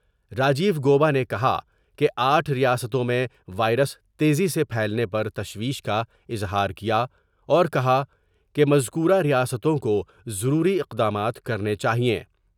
Rajiv Gauba نے کہا کہ آٹھ ریاستوں میں وائرس تیزی سے پھیلنے پر تشویش کا اظہار کیا اور کہا کہ مذکورہ ریاستوں کو ضروری اقدامات کرنے چاہئیں ۔